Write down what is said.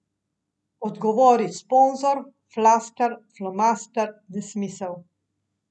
Odgovori sponzor, flaster, flomaster, nesmisel.